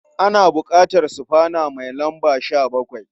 Ana buƙatar sufana mai lamba 17.